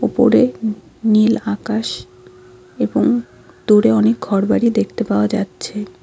উপরে নীল আকাশ এবং দূরে অনেক ঘরবাড়ি দেখতে পাওয়া যাচ্ছে।